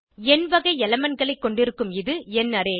எண் வகை elementகளை கொண்டிருக்கும் இது எண் அரே